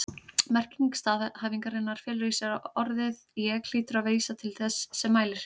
Merking staðhæfingarinnar felur í sér að orðið ég hlýtur að vísa til þess sem mælir.